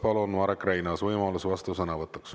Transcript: Palun, Marek Reinaas, võimalus vastusõnavõtuks.